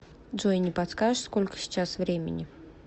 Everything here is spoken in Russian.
джой не подскажешь сколько сейчас времени